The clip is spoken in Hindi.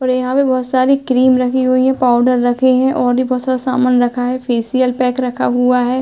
और यहाँ पे बहोत सारे क्रीम रखी हुई है। पाउडर रखे है और भी बहोत सारा सामान रखा है। फेशियल पैक रखा हुआ है।